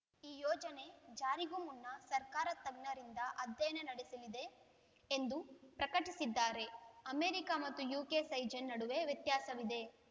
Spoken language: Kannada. ಈ ಯೋಜನೆ ಜಾರಿಗೂ ಮುನ್ನ ಸರ್ಕಾರ ತಜ್ಞರಿಂದ ಅಧ್ಯಯನ ನಡೆಸಲಿದೆ ಎಂದು ಪ್ರಕಟಿಸಿದ್ದಾರೆ ಅಮೆರಿಕ ಮತ್ತು ಯುಕೆ ಸೈಜ್‌ನ ನಡುವೆ ವ್ಯತ್ಯಾಸವಿದೆ